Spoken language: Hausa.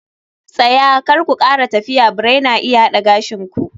Tsaya! Kar ku kara tafiya birai na iya hada gashin ku